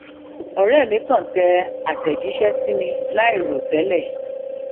òré mi kàn tẹ àtẹjíṣẹ sí mi láìròtẹlẹ